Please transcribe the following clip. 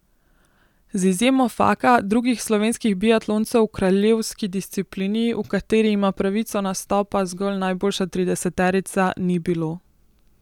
Z izjemo Faka drugih slovenskih biatloncev v kraljevski disciplini, v kateri ima pravico nastopa zgolj najboljša trideseterica, ni bilo.